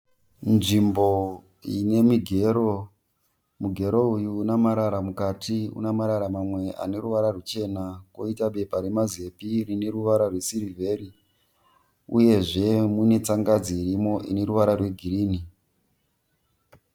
Nzvimbo ine migero, mugero uyu ane marara mukati une marara mamwe ane ruvara rwuchena uye koita bepa remazepe rine ruvara rwesirivheri, uyezve mune tsangadzi irimo ine ruvara rwegirini.